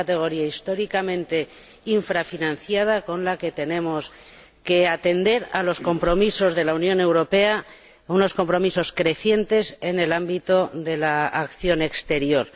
Es una rúbrica históricamente infrafinanciada con la que tenemos que atender a los compromisos de la Unión Europea, unos compromisos crecientes en el ámbito de la acción exterior.